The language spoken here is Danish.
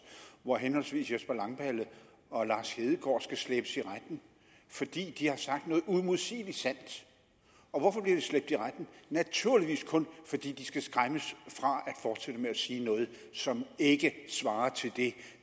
hvor henholdsvis jesper langballe og lars hedegaard skal slæbes i retten fordi de har sagt noget uimodsigeligt sandt og hvorfor bliver de slæbt i retten naturligvis kun fordi de skal skræmmes fra at fortsætte med at sige noget som ikke svarer til det